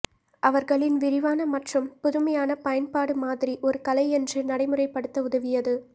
அவர்களின் விரிவான மற்றும் புதுமையான பயன்பாடு மாதிரி ஒரு கலை என்று நடைமுறைப்படுத்த உதவியது